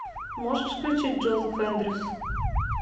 можешь включить джозеф эндрюс